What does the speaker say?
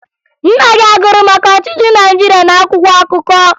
Nna gị a gụrụ maka ọchịchị Naịjirịa n'akwụkwọ akụkọ?